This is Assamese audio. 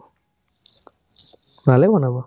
ভালেই বনাব ।